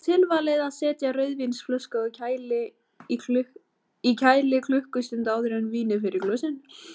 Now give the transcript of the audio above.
Því er tilvalið að setja rauðvínsflösku í kæli klukkustund áður en vínið fer í glösin.